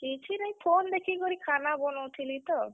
କିଛି ନାଇଁ phone ଦେଖିକରି ଖାନା ବନଉଥିଲି ତ।